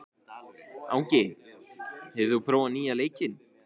Angi, hefur þú prófað nýja leikinn?